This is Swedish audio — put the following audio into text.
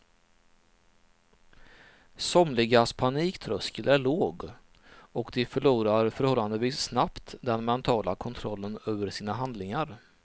Somligas paniktröskel är låg och de förlorar förhållandevis snabbt den mentala kontrollen över sina handlingar.